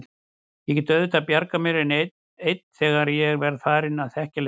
Ég get auðvitað bjargað mér ein þegar ég verð farin að þekkja leiðina.